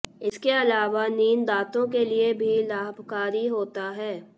इसके अलावा नींद दांतों के लिए भी लाभकारी होता है